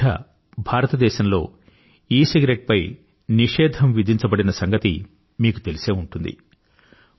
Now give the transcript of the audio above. ఈమధ్య భారతదేశంలో ఈసిగరెట్టు పై నిషేధం విధించబడిన సంగతి మీకు తెలిసే ఉంటుంది